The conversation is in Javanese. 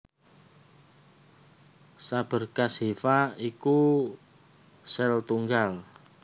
Saberkas hifa iku sel tunggal